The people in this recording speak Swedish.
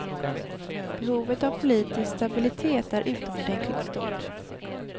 Behovet av politisk stabilitet är utomordentligt stort.